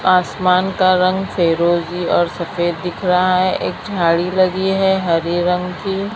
आसमान का रंग फिरोजी और सफेद दिख रहा है एक झाड़ी लगी है हरी रंग की।